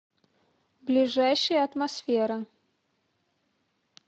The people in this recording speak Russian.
ближайший атмосфера